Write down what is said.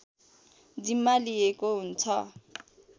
जिम्मा लिएको हुन्छ